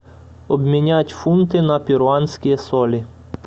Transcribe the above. обменять фунты на перуанские соли